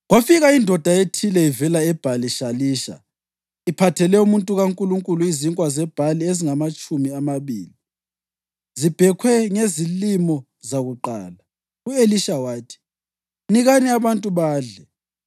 Kwafika indoda ethile ivela eBhali-Shalisha, iphathele umuntu kaNkulunkulu izinkwa zebhali ezingamatshumi amabili, zibhekhwe ngezilimo zakuqala. U-Elisha wathi, “Nikani abantu badle.”